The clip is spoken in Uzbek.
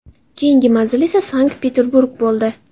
Keyingi manzil esa Sankt-Peterburg bo‘ldi.